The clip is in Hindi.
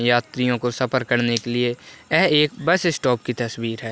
यात्रियों को सफर करने के लिए यह एक बस स्टॉप की तस्वीर है ।